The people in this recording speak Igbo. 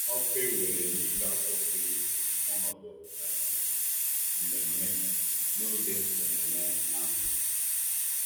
Ọkụ ewere n'ike akwụsịghị ọnọdụ um mmemme n'oge ememe ahụ.